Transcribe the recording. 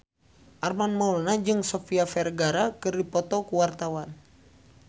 Armand Maulana jeung Sofia Vergara keur dipoto ku wartawan